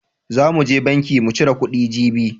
Zan mu je banki mu cire kuɗi jibi..